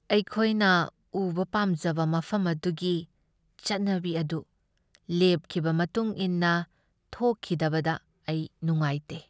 ꯑꯩꯈꯣꯏꯅ ꯎꯕ ꯄꯥꯝꯖꯕ ꯃꯐꯝ ꯑꯗꯨꯒꯤ ꯆꯠꯅꯕꯤ ꯑꯗꯨ ꯂꯦꯞꯈꯤꯕ ꯃꯇꯨꯡ ꯏꯟꯅ ꯊꯣꯛꯈꯤꯗꯕꯗ ꯑꯩ ꯅꯨꯡꯉꯥꯏꯇꯦ꯫